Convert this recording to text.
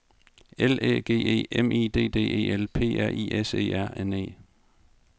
L Æ G E M I D D E L P R I S E R N E